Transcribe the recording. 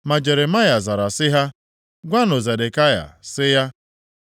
Ma Jeremaya zara sị ha, “Gwanụ Zedekaya sị ya,